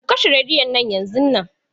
Ku kashe rediyon nan yanzun nan.